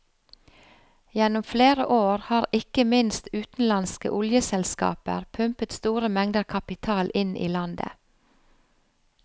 Gjennom flere år har ikke minst utenlandske oljeselskaper pumpet store mengder kapital inn i landet.